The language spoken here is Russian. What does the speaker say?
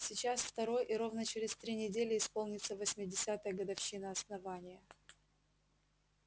сейчас второй и ровно через три недели исполнится восьмидесятая годовщина основания